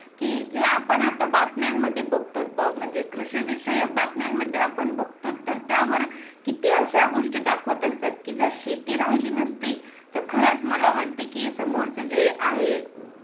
की जे आता आपण बातम्यांमध्ये बघतो बघ म्हणजे कृषिविषयक बातम्यांमध्ये आपण बघतोच तर त्यावर किती अशा गोष्टी दाखवत असतात की जर शेती राहिली नसती तर खरच मला वाटते की समोरच जे आहे